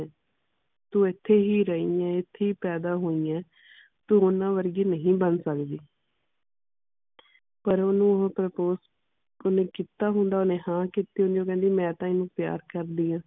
ਤੂੰ ਇਥੇ ਹੀ ਰਹੀ ਏ ਇਥੇ ਹੀ ਪੈਦਾ ਹੋਈ ਏ ਤੂੰ ਓਹਨਾ ਵਰਗੀ ਨਹੀਂ ਬਣ ਸਕਦੀ ਪਰ ਓਹਨੂੰ ਉਹ ਓਹਨੇ ਕੀਤਾ ਹੁੰਦਾ ਓਹਨੇ ਹਾਂ ਕੀਤੀ ਹੁੰਦੀ ਉਹ ਕਹਿੰਦੀ ਮੈਂ ਤਾ ਓਹਨੂੰ ਪਿਆਰ ਕਰਦੀ ਆ